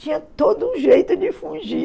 Tinha todo um jeito de fugir.